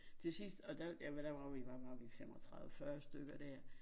Til sidst og der ja hvad der var vi hvad var vi 35 40 stykker dér